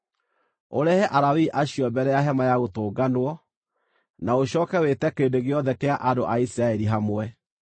Ũrehe Alawii acio mbere ya Hema-ya-Gũtũnganwo, na ũcooke wĩte kĩrĩndĩ gĩothe kĩa andũ a Isiraeli hamwe.